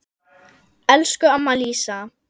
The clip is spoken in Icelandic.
Elsku amma Lísa.